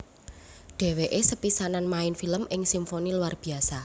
Dheweke sepisanan main film ing Simfoni Luar Biasa